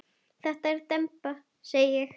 Það er demba segi ég.